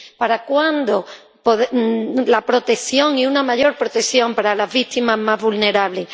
¿Para cuándo la protección y una mayor protección para las víctimas más vulnerables?